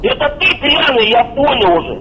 я такой пьяных я понял уже